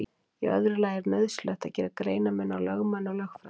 Í öðru lagi er nauðsynlegt að gera greinarmun á lögmanni og lögfræðingi.